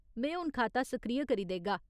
में हून खाता सक्रिय करी देगा।